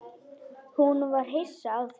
Hún var hissa á því.